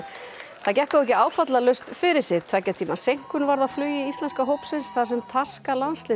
það gekk þó ekki áfallalaust fyrir sig tveggja tíma seinkun varð á flugi íslenska hópsins þar sem taska